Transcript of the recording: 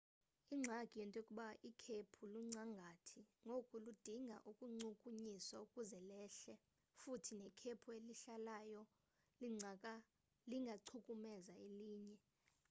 ingxaki yinto yokuba ikhephu luncangathi ngoku ludinga ukuchukunyiswa ukuze lehle futhi nekhephu elehlayo lingachukumeza elinye